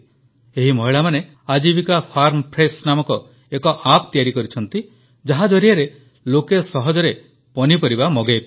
ଏହି ମହିଳାମାନେ Ajeevika farm fresh ନାମକ ଏକ ଏପିପି ତିଆରି କରିଛନ୍ତି ଯାହା ଜରିଆରେ ଲୋକେ ସହଜରେ ପନିପରିବା ମଗାଇପାରିବେ